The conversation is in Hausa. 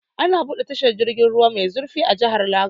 An buɗe tashar jirgin ruwa mai zurfi a jihar Lagos.